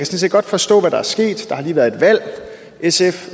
set godt forstå hvad der er sket der har lige været et valg sf